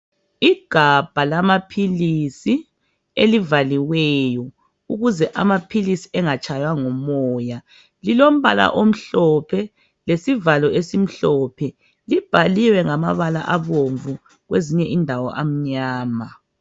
Igabha lamaphilisi elivaliweyo ukuze amaphilisi engatshaywa ngumoya. Lilombala omhlophe lesivalo esimhlophe, libhaliwe ngamabala abomvu kwezinye indawo amnyama.